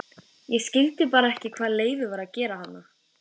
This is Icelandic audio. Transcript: Ég skildi bara ekki hvað Leifur var að gera þarna.